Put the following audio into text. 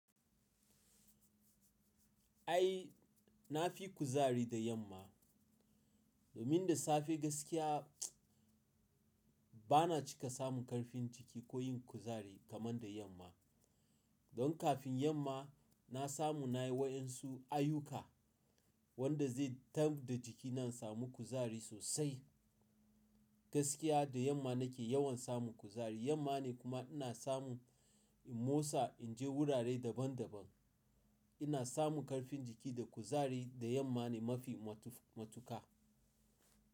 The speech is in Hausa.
Ai na fi kuzari da yamma. Domin da safe gaskiya bana cika samun ƙarfin jiki ko yin kuzari kamar da yamma. Don kafin yamma na samu na yi wa ƴansu ayuka wanda zai tamb da jikina in samu kuzari sosai. Gaskiya da yamma nake yawan samun kuzari. Yamma ne kuma ina samu in motsa, in je wurare daban daban. Ina samun ƙarfin jiki da kuzari da yamma ne mafi matuƙa.